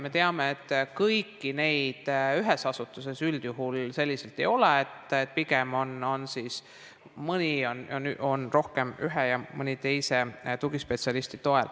Me teame, et kõiki neid ühes asutuses üldjuhul selliselt ei ole, pigem on mõnes kohas rohkem ühe ja mõnes teise tugispetsialisti tuge.